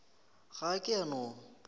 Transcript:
ga a ke a no